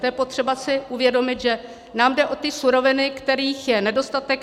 To je potřeba si uvědomit, že nám jde o ty suroviny, kterých je nedostatek.